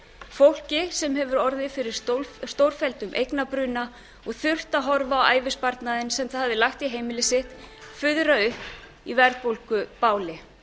fólki sem hefur orðið fyrir stórfelldum eignabruna og þurft að horfa á ævisparnaðinn sem það hafði lagt í heimili sitt fuðra upp í verðbólgubáli